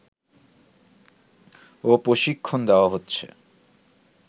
ও প্রশিক্ষণ দেয়া হচ্ছে